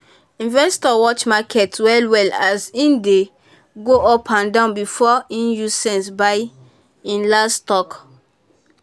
investor watch market well-well as e dey um go up and down before e use sense buy um him um last stock.